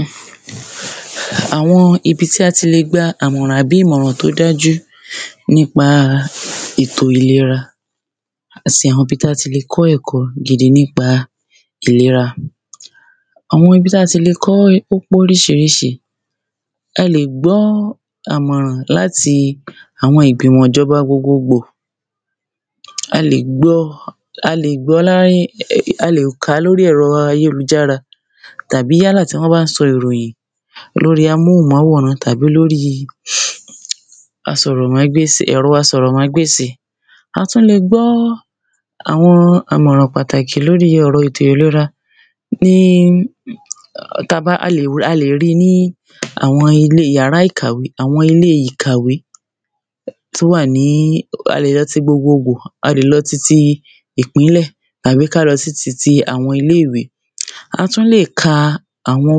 um àwọ̃ ibi tí a ti le gba àmòràn àbí ìmòràn tí ó dájú nípa ètò ìlera àti àwọn ibi tí a ti le kọ́ e.̀kọ́ gidi nípa ìlera àwọn ibi tí a ti lè kó ó pé oríṣirís a lè gbọ́ àmòràn láti ọ̀dọ̀ àwọn ìjọba ìgbìmò gbogbo gbò a lè gbọ́ọ a lè gbọ́ọ ní um a lè kà á lórí ẹ̀rọ ayélujára tàbí yálà tí wọ́n bá ń sọ ìròyìn lórí amóhùnmáwòrán tàbí lórí asọ̀rọ̀mágbèsì ẹ̀rọ asọ̀rọ̀mágbèsì a tṹ le gbọ́ àwọn àmòràn pàtàkì lórí ọ̀rọ̀ ètò ìlera ní tá bá a lè a lè rí ní àwọn ilé yàrá ìkàwé àwọn ilé ìkàwé tó wà ní a lè lọ ti gbogbo gbò a lè lọ ti ti ìpínlẹ̀ tàbí kí á lọ sí ti ti àwọn ilé ìwé a tún lè ka àwọn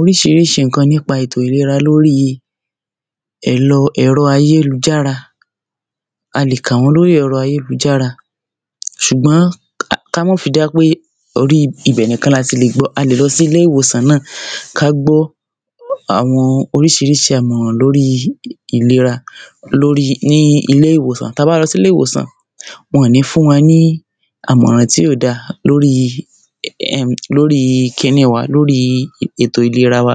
oríṣiríṣi nǹkan nípa ètò ìlera lórí ẹ̀rọ ayélujára a lè kà á lórí ẹ̀rọ ayélujára ṣùgbọ́n ká má fi dá pé orí ibẹ̀ nìkan ni a ti lè gbọ́ ọ a lè lọ sí ilé ìwòsàn náà ká gbọ́ àwọn oríṣiríṣi àmòràn lórí ìlera lórí ní ilé ìwòsàn tá bá lọ sí ilé ìwòsàn wọn ò ní fún wa ní àmòràn tí ò dáa lórí um lórí kiní wa lórí ètò ìlera wa